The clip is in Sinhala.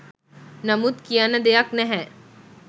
නමුත් කියන්න දෙයක් නැහැ